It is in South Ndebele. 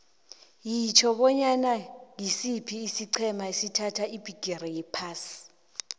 yitjho bona ngisiphi isiqhema esathatha ibhigiri yephasi